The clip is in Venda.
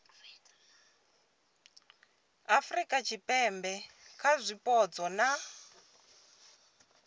afurika tshipembe kha zwipotso na